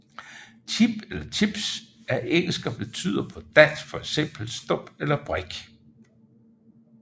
Chip eller chips er engelsk og betyder på dansk fx stump eller brik